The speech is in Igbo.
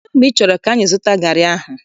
Kedụ mgbe ị chọrọ 'ga zụta garị ahụ?